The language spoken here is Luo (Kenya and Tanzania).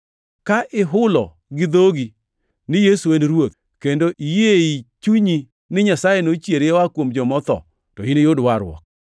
Ka ihulo gi dhogi ni “Yesu en Ruoth,” kendo iyie ei chunyi ni Nyasaye nochiere oa kuom joma otho, to iniyud warruok.